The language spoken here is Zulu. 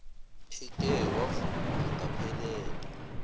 eke wavuma angaphelelwa